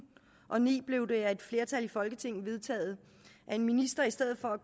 og ni blev det af et flertal i folketinget vedtaget at en minister i stedet for